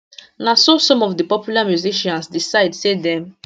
na so some of di popular musicians decide say dem